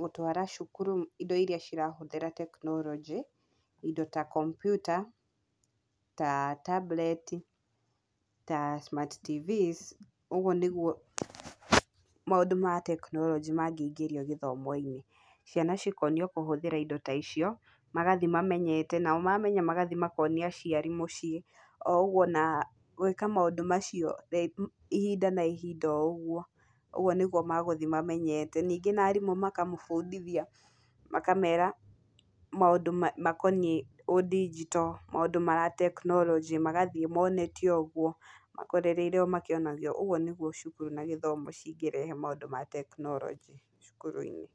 gũtwara cũkũrũ ĩno ĩrĩa cirahũthĩra teknorojĩ, ino ta kompyuta ta tabureti ta smart tvs, ũgũo nĩgũo maũndũ ma teknorojĩ magĩingĩrio gĩthomo-inĩ, ciana cikoonio kũhũthĩra indo ta icio, magathiĩ mamenyete magathiĩ makoonia aciari mũciĩ o ũgũo gwĩka maũndũ macio ihinda ona ihinda, oũgũo nĩgũo magũthiĩ mamenyete ningĩ na arimũ makamũbundithia, makamera maũndũ makoniĩ undigito , maũndũ ma teknorojĩ magathiĩ moonetio ũgũo, makorereire omakĩonagio ũgũo nĩgũo cũkũrũ na gĩthomo cingĩrehe maũndũ ma teknorojĩ cũkũrũ-inĩ.